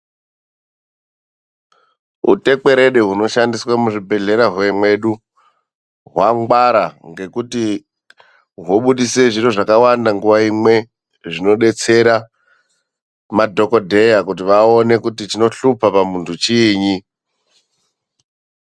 Utekwerede hunoshandiswa muzvibhedhlera mwedu hwangwara ngekuti hobudise zviro zvakawanda nguwa imwe zvinodetsera madhokodheya kuti vaone kuti chinohlupa pamuntu chiinyi.